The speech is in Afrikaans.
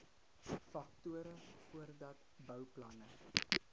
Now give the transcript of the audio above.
faktore voordat bouplanne